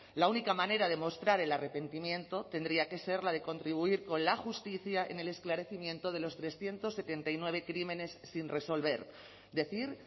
la única manera de mostrar el arrepentimiento tendría que ser la de contribuir con la justicia en el esclarecimiento de los trescientos setenta y nueve crímenes sin resolver decir